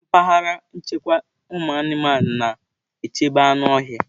Mpaghara nchekwa ụmụanụmanụ. na-echebe anụ ọhịa.